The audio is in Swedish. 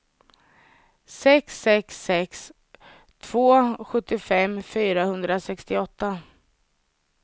sex sex sex två sjuttiofem fyrahundrasextioåtta